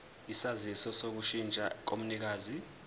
isaziso sokushintsha komnikazi